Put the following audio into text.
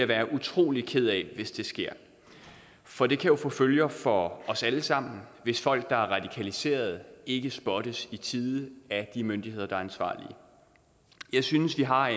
være utrolig ked af hvis det sker for det kan jo få følger for os alle sammen hvis folk der er radikaliserede ikke spottes i tide af de myndigheder der er ansvarlige jeg synes vi har